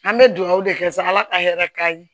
An bɛ dugawu de kɛ sa ala ka hɛrɛ k'an ye